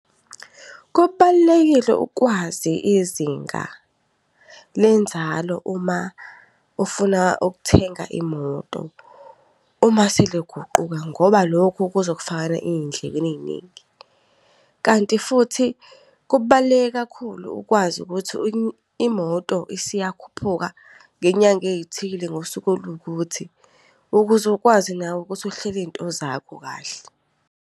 Kubalulekile ukwazi izinga lenzalo uma ufuna ukuthenga imoto, uma seliguquka ngoba loko kuzokufakela endlekweni eyiningi. Kanti futhi, kubaluleke kakhulu ukwazi ukuthi imoto isiyakhuphuka ngenyanga eyithile ngosuku oluwukuthi. Ukuze ukwazi nawe ukuthi uhlele iy'nto zakho kahle.